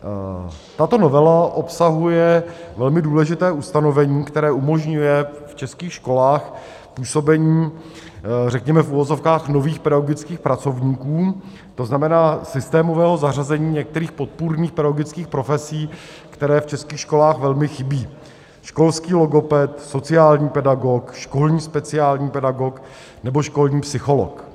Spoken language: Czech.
Tato novela obsahuje velmi důležité ustanovení, které umožňuje v českých školách působení řekněme v uvozovkách nových pedagogických pracovníků, to znamená systémového zařazení některých podpůrných pedagogických profesí, které v českých školách velmi chybí: školský logoped, sociální pedagog, školní speciální pedagog nebo školní psycholog.